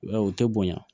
I b'a ye u tɛ bonya